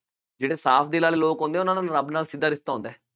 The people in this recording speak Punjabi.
ਜਿਹੜੇ ਸਾਫ ਦਿਲ ਵਾਲੇ ਲੋਕ ਹੁੰਦੇ ਹੈ ਉਹਨਾ ਦਾ ਰੱਬ ਨਾਲ ਸਿੱਧਾ ਰਿਸ਼ਤਾ ਹੁੰਦਾ ਹੈ।